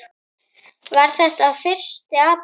Var þetta fyrsti apríl?